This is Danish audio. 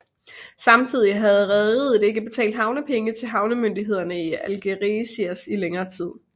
Samtidig havde rederiet ikke betalt havnepenge til havnemyndighederne i Algeciras i længere tid